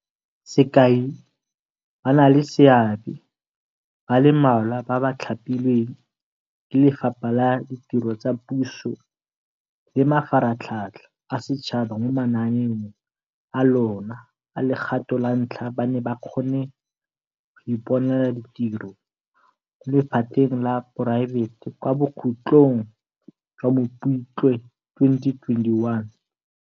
Sekai, ba na le seabe ba le mmalwa ba ba thapilweng ke Lefapha la Ditiro tsa Puso le Mafaratlhatlha a Setšhaba mo mananeong a lona a legato la ntlha ba ne ba kgone go iponela ditiro mo lephateng la poraefete kwa bokhutlong jwa Mopitlwe 2021.